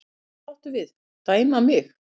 Hvað áttu við, dæma mig?